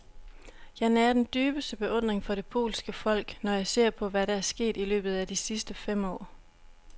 Jeg nærer den dybeste beundring for det polske folk, når jeg ser på, hvad der er sket i løbet af de sidste fem år.